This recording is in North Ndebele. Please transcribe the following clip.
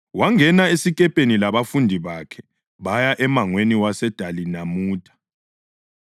wangena esikepeni labafundi bakhe baya emangweni waseDalimanutha.